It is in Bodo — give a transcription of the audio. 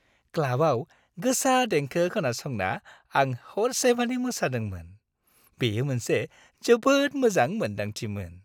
क्लाबाव गोसा देंखो खोनासंना आं हरसेमानि मोसादोंमोन। बेयो मोनसे जोबोद मोजां मोन्दांथिमोन।